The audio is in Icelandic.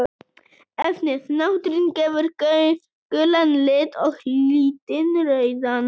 Efnið natrín gefur gulan lit og litín rauðan.